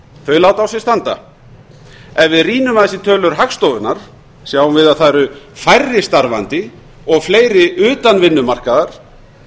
þau láta á sér standa ef við rýnum aðeins í tölur hagstofunnar sjáum við að það eru færri starfandi og fleiri utan vinnumarkaðar